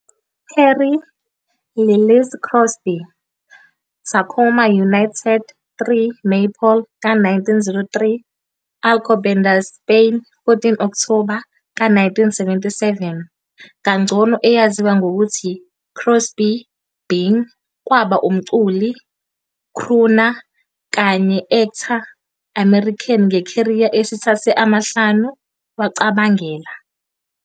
Harry Lillis Crosby, Tacoma, United States, 3 maypole ka-1903 - Alcobendas, Spain, 14 Okthoba ka-1977, kangcono eyaziwa ngokuthi Crosby Bing kwaba umculi, "crooner", kanye actor American nge-career esithathe amahlanu wacabangela